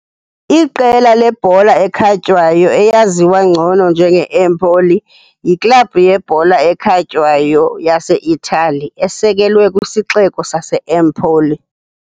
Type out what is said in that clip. Iqela lebhola ekhatywayo, eyaziwa ngcono njenge-Empoli, yiklabhu yebhola ekhatywayo yaseItali esekelwe kwisixeko saseEmpoli.